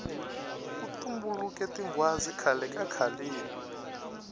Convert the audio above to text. ku tumbuluke tinghwazi khale kakhaleni